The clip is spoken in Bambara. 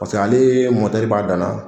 ale b'a danna